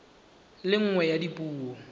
le nngwe ya dipuo tsa